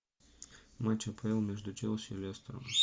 матч апл между челси и лестером